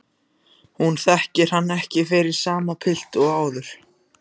Hún þekkir hann ekki fyrir sama pilt og áður.